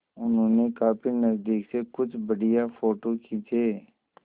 उन्होंने काफी नज़दीक से कुछ बढ़िया फ़ोटो खींचे